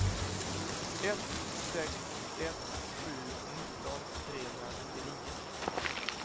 ett sex ett sju nitton trehundranittionio